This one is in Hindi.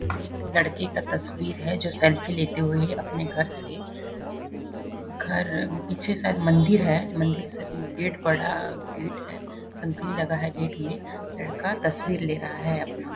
एक लड़के का तस्वीर है जो सेल्फी लेते हुये अपने घर से घर पीछे शायद मंदिर है मंदिर से गेट बड़ा गेट है सांखली लगा है गेट में लड़का तस्वीर ले रहा है अपना।